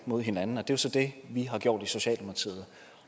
mod hinanden og det er så det vi har gjort i socialdemokratiet